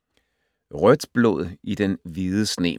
Rødt blod i den hvide sne